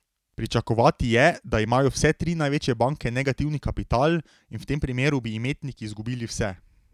Pričakovati je, da imajo vse tri največje banke negativni kapital in v tem primeru bi imetniki izgubili vse.